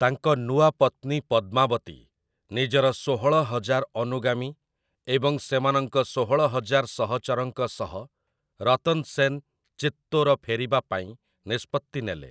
ତାଙ୍କ ନୂଆ ପତ୍ନୀ ପଦ୍ମାବତୀ, ନିଜର ଷୋହଳ ହଜାର ଅନୁଗାମୀ ଏବଂ ସେମାନଙ୍କ ଷୋହଳ ହଜାର ସହଚରଙ୍କ ସହ ରତନ୍ ସେନ୍ ଚିତ୍ତୋର ଫେରିବା ପାଇଁ ନିଷ୍ପତ୍ତି ନେଲେ ।